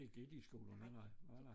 Ikke i de skolerne nej nej